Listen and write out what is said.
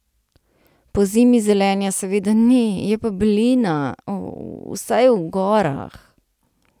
Pozimi zelenja seveda ni, je pa belina, vsaj v gorah.